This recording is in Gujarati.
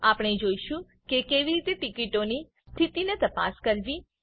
આપણે જોઈશું કે કેવી રીતે ટીકીટોની સ્થિતિની તપાસ કરવી